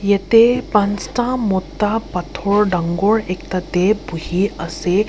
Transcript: yete panchta mota pathor dangor ekta de buhi ase.